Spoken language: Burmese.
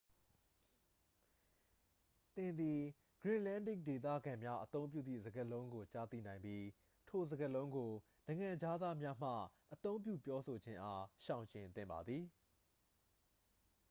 သင်သည် greenlandic ဒေသခံများအသုံးပြုသည့်စကားလုံးကို ကြားသိနိုင်ပြီး ထိုစကားလုံးကို နိုင်ငံခြားသားများမှ အသုံးပြုပြောဆိုခြင်းအား ရှောင်ကြဉ်သင့်ပါသည်